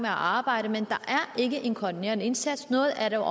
arbejde men der er ikke en koordinerende indsats noget af det